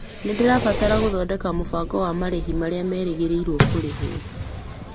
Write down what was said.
Nĩndĩrabatara gũthodeka mũbango wa marĩhi marĩa magerĩirwo kũrĩhwo.